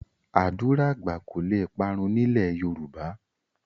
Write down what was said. Ádùrá àgbà kò le parun ní ilẹ̀ Yorùbá